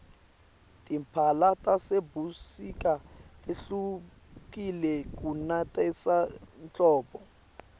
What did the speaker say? timphala tasebusika tehlukile kunetase hldbo